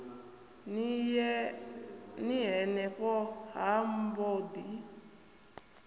ni henefho ha mbo ḓi